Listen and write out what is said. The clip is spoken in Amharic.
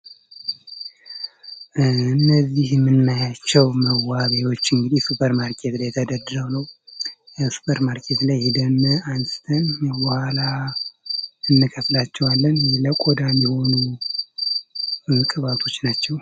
እነዚህ ይምናያቸው መዋቢያዎች እንግዲህ ሱፐር ማርኬት ላይ ተደድረው ነው የሱፐር ማርኬት ላይ ሂደን አንስተን ለበኋላ እንከፍላቸዋለን። ለቆዳ ሚሆኑ ቅባቶች ናቸው።